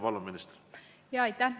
Palun, minister!